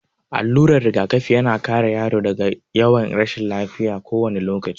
Allurar rigakafi ya na kare yaro daga yawan rashin lafiya kowane lokaci.